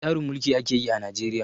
Wani tsarin mulki ake yi a Najeriya?